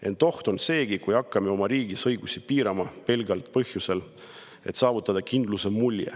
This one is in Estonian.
Ent oht on seegi, kui hakkame oma riigis õigusi piirama pelgalt põhjusel, et saavutada kindluse mulje.